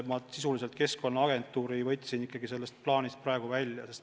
Ma siiski võtsin Keskkonnaagentuuri praegu sellest plaanist välja.